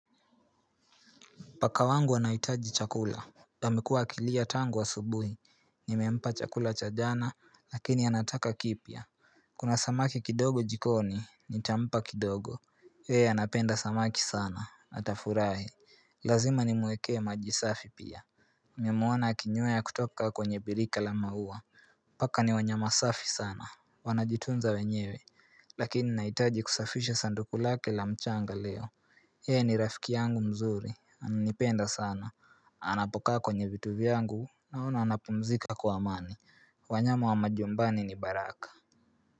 Paka wangu anahitaji chakula amekua akilia tangu asubuhi Nimempa chakula cha jana lakini anataka kipya Kuna samaki kidogo jikoni nitampa kidogo yeye anapenda samaki sana atafurahi Lazima nimuweke maji safi pia nimemwona akinywea kutoka kwenye birika la maua Paka ni wanyama safi sana Wanajitunza wenyewe Lakini nahitaji kusafisha sanduku lake la mchanga leo yeye ni rafiki yangu mzuri Ananipenda sana, anapokaa kwenye vitu vyangu naona anapumzika kwa amani wanyama wa majumbani ni baraka.